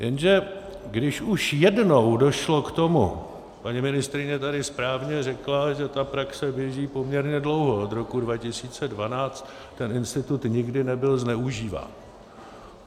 Jenže když už jednou došlo k tomu - paní ministryně tady správně řekla, že ta praxe běží poměrně dlouho, od roku 2012, ten institut nikdy nebyl zneužíván.